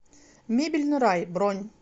мебельный рай бронь